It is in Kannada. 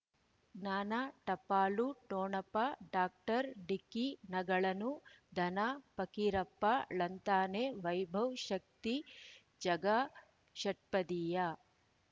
ಜ್ಞಾನ ಟಪಾಲು ಠೊಣಪ ಡಾಕ್ಟರ್ ಢಿಕ್ಕಿ ಣಗಳನು ಧನ ಫಕೀರಪ್ಪ ಳಂತಾನೆ ವೈಭವ್ ಶಕ್ತಿ ಝಗಾ ಷಟ್ಪದಿಯ